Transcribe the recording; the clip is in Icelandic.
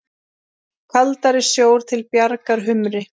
Kaldari sjór til bjargar humri?